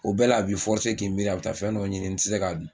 O bɛɛ la a b'i k'i miiri a bɛ taa fɛn dɔ ɲini n tɛ se k'a dun